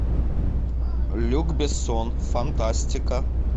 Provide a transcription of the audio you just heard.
люк бессон фантастика